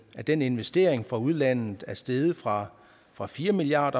den investering fra udlandet er steget fra fra fire milliard